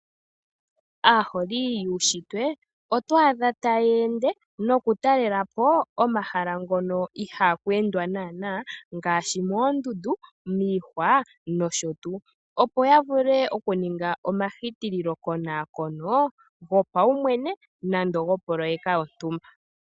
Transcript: Aaholi yuushitwe otwa adha taya ende nokutalela po omahala ngono ihaaku endwa naanaa ngaashi moondundu , miihwa nosho tuu, opo ya vule okuninga omahitililokonaakono gopaumwene nande gopoloyeka yontumba.